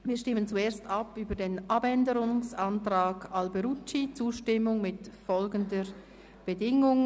Wir stimmen zuerst über den Abänderungsantrag Alberucci ab, die «Zustimmung mit folgender Bedingung: